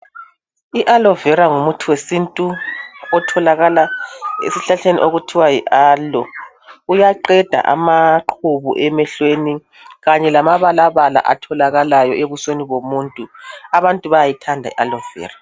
Ialovera ngumuthi wesintu otholakala esihlahleni okuthiwa yiAloe. Uyaqeda amaqhubu emehlweni kanye lamabalabala atholakalayo ebusweni abantu bayayithanda ialovera